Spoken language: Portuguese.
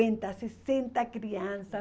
sessenta criança.